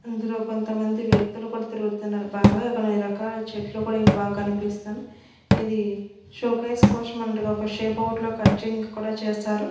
ఇందులో కొంతమంది వ్యక్తులు కూడా తిరుగుతున్నారు బాగా కొన్ని రకాల చెట్లు కూడా ఇంకా బాగా కనిపిస్తున్నాయి ఇది షోకేస్ కోసం అన్నట్టుగా ఒక షేప్ అవుట్ లో కటింగ్ కూడా చేశారు.